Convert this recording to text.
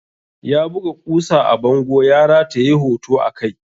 Ya buga ƙusa a bango ya rataye hoto a kai.